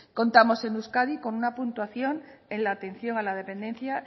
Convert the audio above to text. contamos en euskadi con una puntuación en la atención a la dependencia